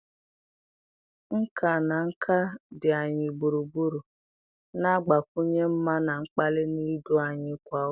Nkà na nka dị anyị gburugburu, na-agbakwunye mma na mkpali na ndụ anyị kwa ụbọchị